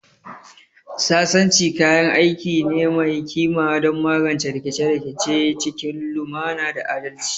Sasanci kayan aiki ne mai kima don magance rikice-rikice cikin lumana da adalci